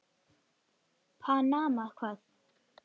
Panama hvað?